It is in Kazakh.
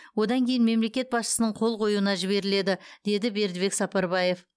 одан кейін мемлекет басшысының қол қоюына жіберіледі деді бердібек сапарбаев